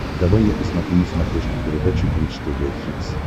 давай я посмотрю на смотрешке передачу бридж тв хитс